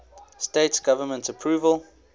states government approval